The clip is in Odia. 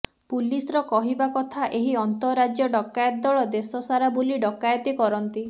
ପୁଲିସର କହିବା କଥା ଏହି ଅନ୍ତଃରାଜ୍ୟ ଡକାୟତ ଦଳ ଦେଶ ସାରା ବୁଲି ଡକାୟତି କରନ୍ତି